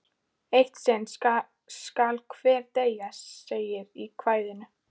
Eitt sinn skal hver deyja, segir í kvæðinu.